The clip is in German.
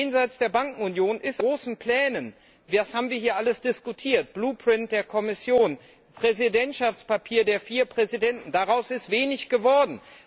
Jenseits der Bankenunion ist aus den großen Plänen das haben wir hier alles diskutiert Blueprint der Kommission, Präsidentschaftspapier der vier Präsidenten wenig geworden.